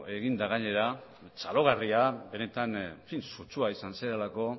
eginda gainera txalogarria benetan sutsua izan zarelako